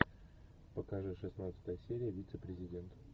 покажи шестнадцатая серия вице президент